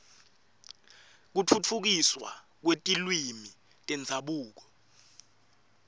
kutfutfukiswa kwetilwimi tendzabuko